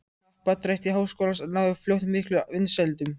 Happdrætti Háskólans náði fljótt miklum vinsældum.